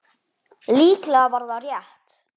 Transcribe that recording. Líklega var það rétt.